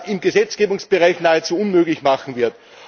im Gesetzgebungsbereich nahezu unmöglich machen wird.